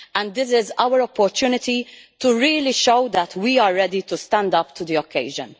This is our opportunity to really show that we are ready to stand up to the occasion.